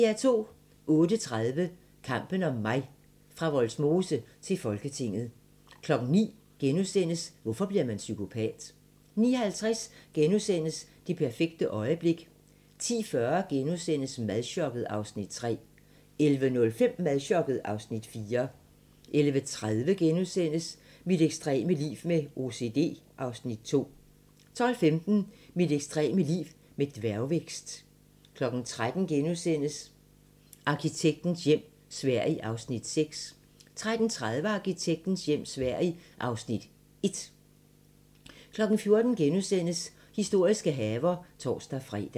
08:30: Kampen om mig – fra Vollsmose til Folketinget 09:00: Hvorfor bliver man psykopat? * 09:50: Det perfekte øjeblik * 10:40: Madchokket (Afs. 3)* 11:05: Madchokket (Afs. 4) 11:30: Mit ekstreme liv med OCD (Afs. 2)* 12:15: Mit ekstreme liv med dværgvækst 13:00: Arkitektens hjem - Sverige (Afs. 6)* 13:30: Arkitektens hjem - Sverige (Afs. 1) 14:00: Historiske haver *(tor-fre)